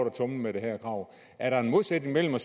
at tumle med det her krav er der en modsætning i